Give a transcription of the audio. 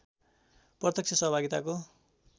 प्रत्यक्ष सहभागिताको